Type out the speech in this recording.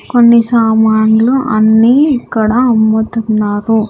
కొన్ని సామాన్లు అన్నీ ఇక్కడ అమ్ముతున్నారు.